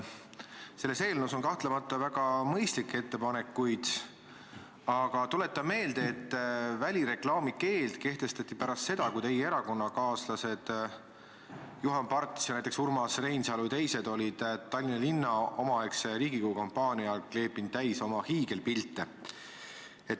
Selles eelnõus on kahtlemata väga mõistlikke ettepanekuid, aga tuletan meelde, et välireklaami keeld kehtestati pärast seda, kui teie erakonnakaaslased Juhan Parts, Urmas Reinsalu ja teised olid omaaegse Riigikogu kampaania ajal kleepinud Tallinna linna täis oma hiigelpilte.